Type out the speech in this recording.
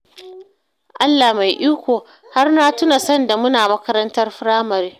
Allah mai iko, har na tuna sanda muna makarantar firamare